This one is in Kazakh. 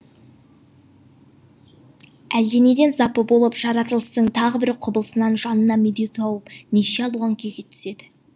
әлденеден запы болып жаратылыстың тағы бір құбылысынан жанына медеу тауып неше алуан күйге түседі